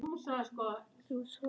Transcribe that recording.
Þú svæfa Lóló